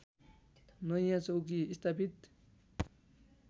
नयाँ चौकी स्थापित